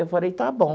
Eu falei, está bom.